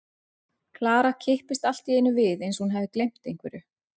Klara kippist allt í einu við eins og hún hafi gleymt einhverju.